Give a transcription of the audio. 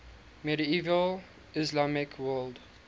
medieval islamic world